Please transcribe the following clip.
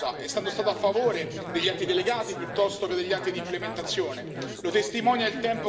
Lo dico con cognizione di causa, essendo stato a favore degli atti delegati piuttosto che degli atti di implementazione.